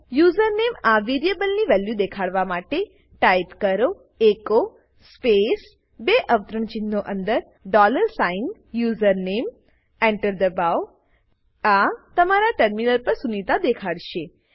username આ વેરીએબલની value દેખાડવા માટે ટાઇપ કરો એચો સ્પેસ બે અવતરણચિહ્નો અંદર ડોલર સાઇન યુઝરનેમ Enter દબાઓ આ તમારા ટર્મિનલ પર સુનિતા દેખાડશે